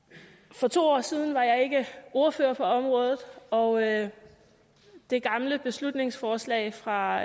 for to år siden var jeg ikke ordfører på området og det gamle beslutningsforslag fra